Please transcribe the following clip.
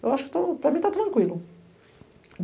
Eu acho que estou, para mim está tranquilo.